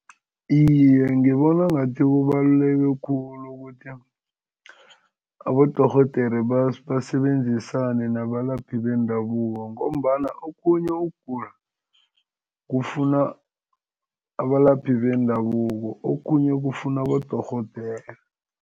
Iye, ngibona ngathi kubaluleke khulu ukuthi abodorhodere basebenzisane nabalaphi bendabuko ngombana okhunye ukugula kufuna abalaphi bendabuko, okhunye kufuna abodorhodere.